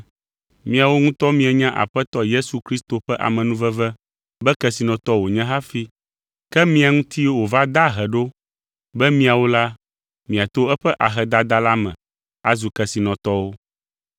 Miawo ŋutɔ mienya Aƒetɔ Yesu Kristo ƒe amenuveve be kesinɔtɔ wònye hafi, ke mia ŋuti wòva de ahe ɖo be miawo la, miato eƒe ahedada la me azu kesinɔtɔwo.